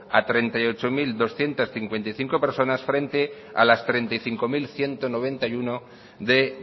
a treinta y ocho mil doscientos cincuenta y cinco personas frente a las treinta y cinco mil ciento noventa y uno de